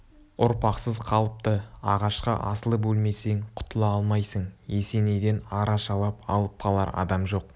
ұрпақсыз қалыпты ағашқа асылып өлмесең құтыла алмайсың есенейден арашалап алып қалар адам жоқ